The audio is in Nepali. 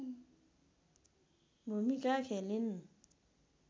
भुमिका खेलिन्